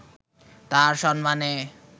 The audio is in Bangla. তাঁর সম্মানে